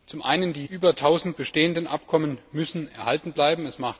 Zum einen Die über tausend bestehenden Abkommen müssen erhalten bleiben.